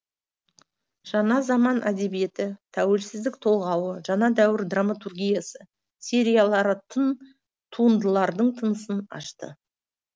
жаңа заман әдебиеті тәуелсіздік толғауы жаңа дәуір драматургиясы сериялары тың туындылардың тынысын ашты